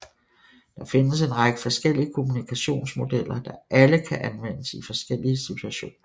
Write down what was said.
Der findes en række forskellige kommunikationsmodeller der alle kan anvendes i forskellige situationer